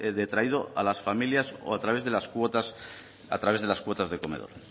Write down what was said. detraído a las familias o a través de las cuotas de comedor